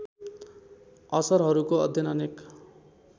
असरहरूको अध्ययन अनेक